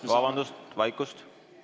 Vabandust, vaikust!